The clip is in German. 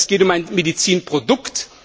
Es geht um ein Medizinprodukt.